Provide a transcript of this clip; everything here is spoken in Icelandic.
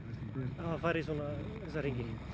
hafa farið í þessa hringi